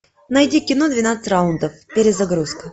найди кино двенадцать раундов перезагрузка